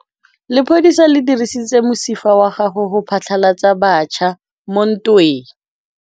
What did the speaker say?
Lepodisa le dirisitse mosifa wa gagwe go phatlalatsa batšha mo ntweng.